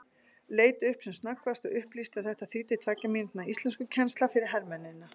Leit upp sem snöggvast og upplýsti að þetta þýddi tveggja mínútna íslenskukennsla fyrir hermennina.